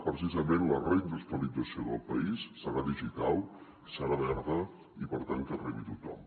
precisament la reindustrialització del país serà digital serà verda i per tant que arribi a tothom